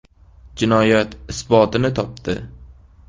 Jinoyat isbotini topdi.